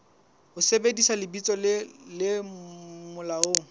ho sebedisa lebitso le molaong